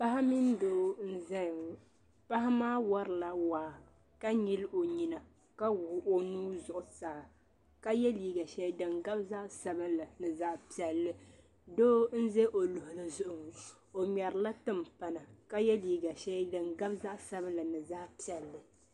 Paɣa mini doo n zaya ŋɔ paɣa maa wari la waa nyili o nyina ma wuɣi o nuu zuɣu saa ka yɛ liiga shɛli din gabi zaɣi sabinli ni zaɣi piɛlli doo n ʒe o luɣuli zuɣu o ŋmɛri la timpana ka yɛ liiga shɛli din gabi zaɣi sabinli mini zaɣi piɛlli.